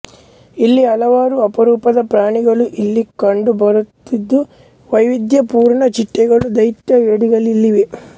ಇಲ್ಲಿ ಹಲವಾರು ಅಪರೂಪದ ಪ್ರಾಣಿಗಳು ಇಲ್ಲಿ ಕಂಡು ಬರುತ್ತಿದ್ದುವೈವಿದ್ಯಪೂರ್ನ ಚಿಟ್ಟೆಗಳು ದೈತ್ಯ ಏಡಿಗಳು ಇಲ್ಲಿವೆ